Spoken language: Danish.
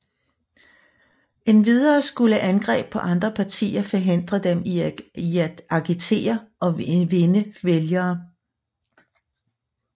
Endvidere skulle angreb på andre partier forhindre dem i at agitere og vinde vælgere